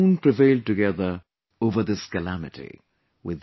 We will soon prevail together over this calamity